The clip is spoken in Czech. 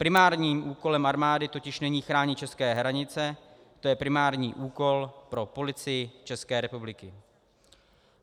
Primárním úkolem armády totiž není chránit české hranice, to je primární úkol pro Policii České republiky.